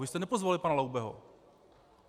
Vy jste nepozvali pana Laubeho.